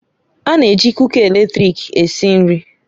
A na-eji kuka eletrik esi nri